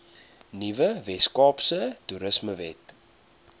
nuwe weskaapse toerismewet